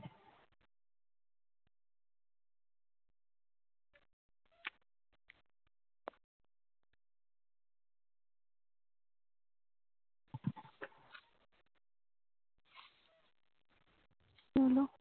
বলো